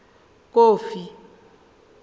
kofi